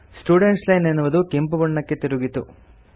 student line ಎನ್ನುವುದು ಕೆಂಪುಬಣ್ಣಕ್ಕೆ ತಿರುಗಿತು